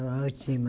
É uma ótima.